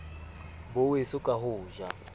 bo weso ka ho ja